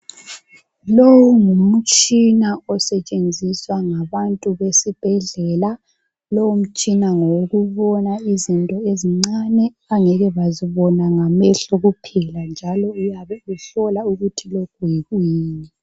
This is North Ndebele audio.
Lowu ngumutshina osetshenziswa ngabantu besibhedlela ,lowu mtshina ngowokubona izinto ezincane abangeke bazibona ngamehlo kuphela, njalo uyabe uhlola ukuthi lokhu yikuyini.